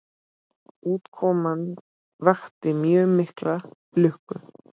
Útkoman vakti mjög mikla lukku.